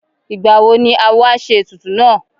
Ìgbà wo ni awo á ṣe ètùtù náà?